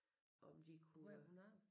Om de kunne øh